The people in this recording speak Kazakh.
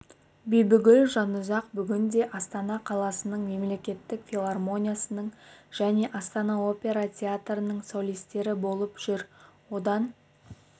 бибігүл жанұзақ бүгінде астана қаласының мемлекеттік филармониясының және астана опера театрының солистері болып жүр одан